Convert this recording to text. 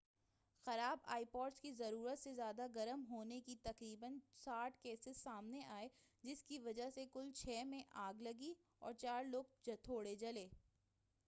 خراب iPods کے ضرورت سے زیادہ گرم ہونے کے تقریناً 60 کیسز سامنے آئے جس کی وجہ سے کل چھ میں آگ لگی اور چار لوگ تھوڑے جلے